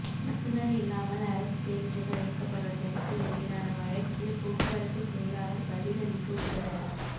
நடத்துனர் இல்லாமல் அரசு பேருந்துகள் இயக்கப்படுவதற்கு எதிரான வழக்கில் போக்குவரத்து செயலாளர் பதிலளிக்க உத்தரவு